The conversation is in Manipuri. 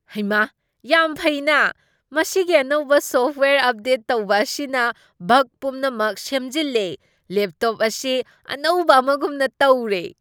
ꯍꯩꯃꯥ ꯌꯥꯝ ꯐꯩꯅꯥ, ꯃꯁꯤꯒꯤ ꯑꯅꯧꯕ ꯁꯣꯐ꯭ꯠꯋꯦꯌꯔ ꯑꯞꯗꯦꯠ ꯇꯧꯕ ꯑꯁꯤꯅ ꯕꯒ ꯄꯨꯝꯅꯃꯛ ꯁꯦꯝꯖꯤꯜꯂꯦ꯫ ꯂꯦꯞꯇꯣꯞ ꯑꯁꯤ ꯑꯅꯧꯕ ꯑꯃꯒꯨꯝꯅ ꯇꯧꯔꯦ !